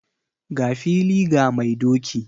Ga fili ga mai doki!